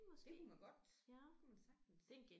Det kunne man godt det kunne man sagtens